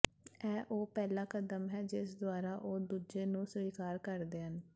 ਇਹ ਉਹ ਪਹਿਲਾ ਕਦਮ ਹੈ ਜਿਸ ਦੁਆਰਾ ਉਹ ਦੂਜੇ ਨੂੰ ਸਵੀਕਾਰ ਕਰਦੇ ਹਨ